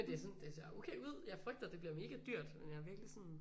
Det er sådan det ser okay ud jeg frygter at det bliver mega dyrt men jeg er virkelig sådan